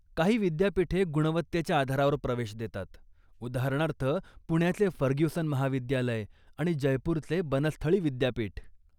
काही विद्यापीठे गुणवत्तेच्या आधारावर प्रवेश देतात, उदाहरणार्थ पुण्याचे फर्ग्युसन महाविद्यालय आणि जयपुरचे बनस्थळी विद्यापीठ.